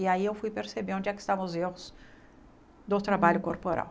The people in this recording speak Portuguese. E aí eu fui perceber onde é que estavam os erros do trabalho corporal.